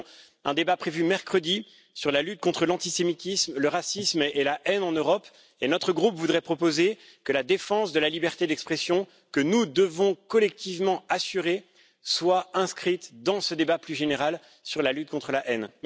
Nous avons un débat prévu mercredi sur la lutte contre l'antisémitisme, le racisme et la haine en Europe, et notre groupe voudrait proposer que la défense de la liberté d'expression que nous devons collectivement assurer soit inscrite dans ce débat plus général sur la lutte contre la haine.